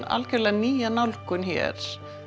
alveg nýja nálgun hér